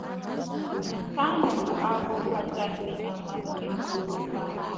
Nke ahụ bụ abụ kachasị amasị m ruo taa.